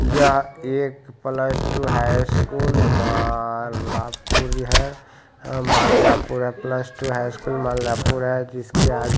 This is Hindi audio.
यह एक plus two high school Malapur है माल्यापुर है| plus two high school Malyapur है जिसके आगे--